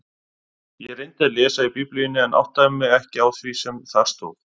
Ég reyndi að lesa í Biblíunni en áttaði mig ekki á því sem þar stóð.